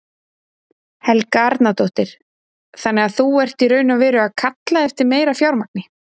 Helga Arnardóttir: Þannig þú ert í raun og veru að kalla eftir meira fjármagni?